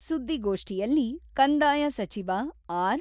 ಸುದ್ದಿಗೋಷ್ಠಿಯಲ್ಲಿ ಕಂದಾಯ ಸಚಿವ ಆರ್.